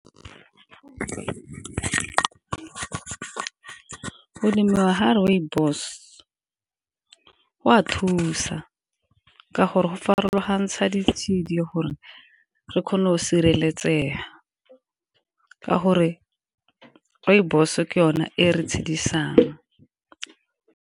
Go lemiwa ga rooibos go a thusa ka gore go farologantsha ditshedi gore re kgone go sireletsega ka gore rooibos ke yone e re tshedisang